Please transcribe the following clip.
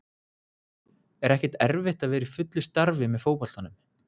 Er ekkert erfitt að vera í fullu starfi með fótboltanum?